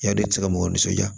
Yani i tɛ se ka mɔgɔw nisɔndiya